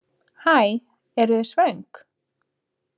Hæ, eru þið svöng?